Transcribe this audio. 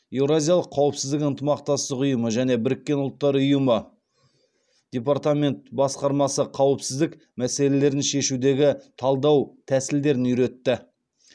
еуразиялық қауіпсіздік ынтымақтастық ұйымы және біріккен ұлттар ұйымы департамент басқармасы қауіпсіздік мәселелерін шешудегі талдау тәсілдерін үйретті